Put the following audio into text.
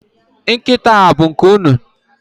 Nkịta a bụ nke unu?